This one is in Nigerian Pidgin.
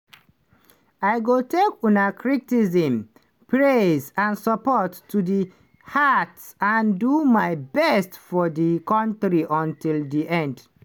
i go take una criticism praise and support to di heart and do my best for di kontri until di end."